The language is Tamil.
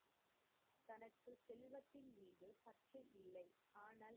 ஆனந்த்,